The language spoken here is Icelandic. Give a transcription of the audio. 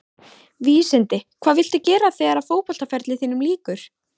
Vísindi Hvað viltu gera þegar að fótboltaferli þínum lýkur?